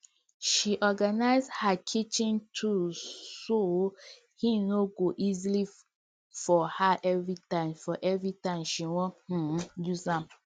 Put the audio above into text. she organize her kitchen tools so hin go dey easier for her everytime her everytime she won um use am